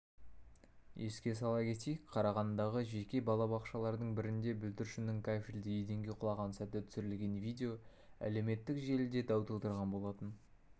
еске сала кетейік қарағандыдағы жеке балабақшалардың бірінде бүлдіршіннің кафельді еденге құлаған сәті түсірілген видео әлеуметтік желіде дау тудырған болатын